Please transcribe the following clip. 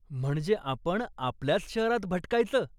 म्हणजे आपण आपल्याच शहरात भटकायचं?